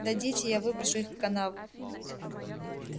дадите я выброшу их в канаву